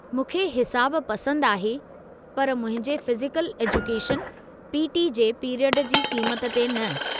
मूंखे हिसाबु पसंदि आहे पर मुंहिंजे फ़िज़िकल एजुकेशन (पी.टी.) जे पीरियडु जी क़ीमत ते न।